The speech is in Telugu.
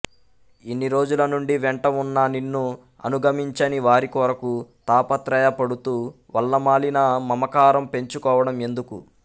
ఇన్ని రోజుల నుండి వెంట ఉన్న నిన్ను అనుగమించని వారి కొరకు తాపత్రయపడుతూ వల్లమాలిన మమకారం పెంచుకోవడం ఎందుకు